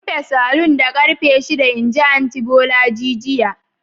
Rufe saloon da karfe shida! inji anty bolaji jiya.